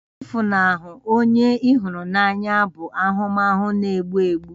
Ịfunahụ onye ị hụrụ n'anya bụ ahụmahụ na-egbu mgbu